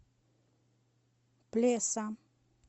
плеса